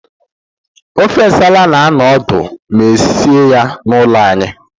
Ofe nsala na-anọ ọdụ ma esie ya n'ụlọ anyị.